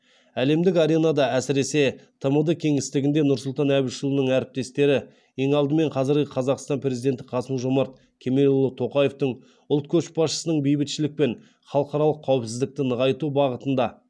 әлемдік аренада әсіресе тмд кеңістігінде нұрсұлтан әбішұлының әріптестері ең алдымен қазіргі қазақстан президенті қасым жомарт кемелұлы тоқаевтың ұлт көшбасшысының бейбітшілік пен халықаралық қауіпсіздікті нығайту бағытында